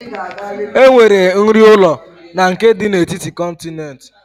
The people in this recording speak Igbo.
Enwere nri ụlọ na nke dị n'etiti kọntinent